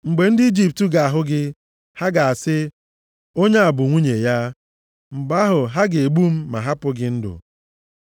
Mgbe ndị Ijipt ga-ahụ gị, ha ga-asị, ‘Onye a bụ nwunye ya.’ Mgbe ahụ, ha ga-egbu m ma hapụ gị ndụ.